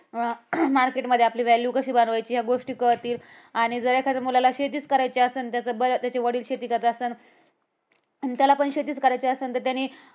अह market मध्ये आपली value कशी बनवायची या गोष्टी कळतील आणि जर एखाद्या मुलाला शेतीच करायची असल, त्याचा बर त्याचे वडील शेती करत असन आणि त्याला पण शेतीच करायची असन तर त्यानी